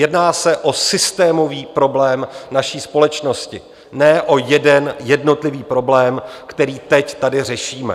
Jedná se o systémový problém naší společnosti, ne o jeden jednotlivý problém, který teď tady řešíme.